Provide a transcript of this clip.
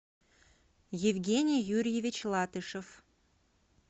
евгений юрьевич латышев